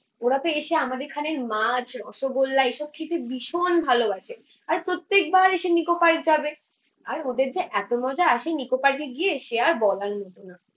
ওরাতো এসে আমাদের এখানে মাছ, রসগোল্লা এসব খেতে ভীষণ ভালোবাসে। আর প্রত্যেকবার এসে নিকো পার্ক যাবে আর ওদের যে এতো মজা আসে নিকো পার্কে গিয়ে সে আর বলার মতো না